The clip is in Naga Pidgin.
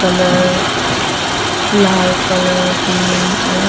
color lal color green ala--